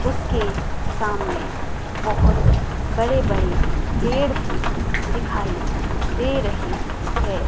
उसके सामने बहुत बड़े बड़े पेड़ भी दिखाई दे रहे है।